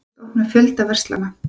Hyggjast opna fjölda verslana